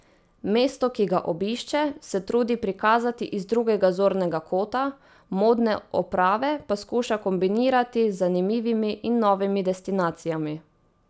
Mesto, ki ga obišče, se trudi prikazati iz drugega zornega kota, modne oprave pa skuša kombinirati z zanimivimi in novimi destinacijami.